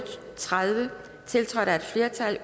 og tredive tiltrådt af et flertal